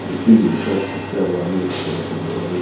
и ты мне сейчас спустя два месяца это говоришь